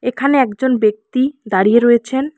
এখানে একজন ব্যক্তি দাঁড়িয়ে রয়েছেন।